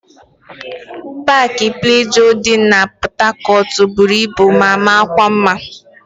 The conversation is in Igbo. Paakị Plejọọ dị na Pọtakọtụ buru ibu ma makwa mma.